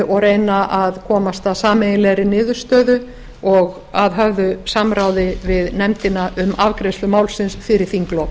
og reyna að komast að sameiginlegri niðurstöðu og að höfðu samráði við nefndina um afgreiðslu málsins fyrir þinglok